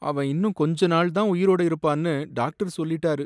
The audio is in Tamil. அவன் இன்னும் கொஞ்ச நாள் தான் உயிரோட இருப்பான்னு டாக்டர் சொல்லிட்டாரு.